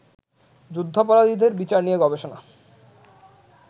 যুদ্ধাপরাধীদের বিচার নিয়ে গবেষণা